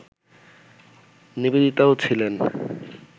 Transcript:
নিবেদিতাও ছিলেন